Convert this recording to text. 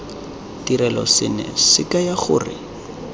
ditirelo seno se kaya gore